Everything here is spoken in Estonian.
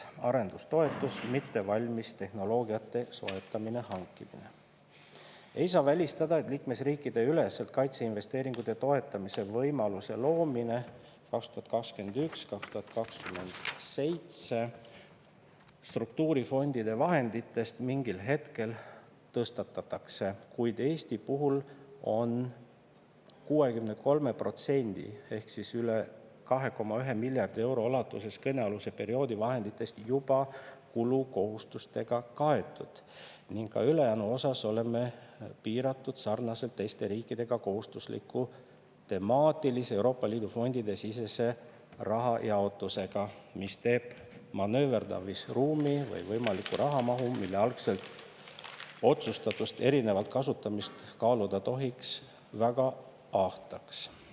Ei saa välistada, et liikmesriikide üleselt kaitseinvesteeringute toetamise võimaluse loomine 2021-2027 struktuurifondide vahenditest mingil hetkel tõstatatakse, kuid Eesti puhul on 63% ulatuses kõnealuse perioodi vahenditest juba kulukohustustega kaetud ning ka ülejäänu osas oleme piiratud sarnaselt teiste riikidega kohustusliku temaatilise EL fondide sisese rahajaotusega, mis teeb manööverdamisruumi/võimaliku rahamahu, mille algselt otsustatust erinevalt kasutamist kaaluda tohiks, väga ahtaks.